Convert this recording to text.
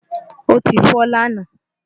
ó ti fọ́ lánàá